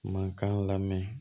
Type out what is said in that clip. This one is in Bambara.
Mankan lamɛn